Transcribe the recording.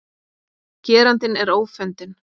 Gerandinn er ófundinn